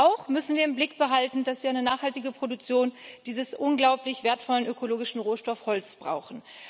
Auch müssen wir im Blick behalten, dass wir eine nachhaltige Produktion dieses unglaublich wertvollen ökologischen Rohstoffs Holz brauchen.